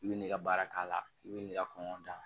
I bɛ ne ka baara k'a la i bɛ n'i ka kɔngɔ dan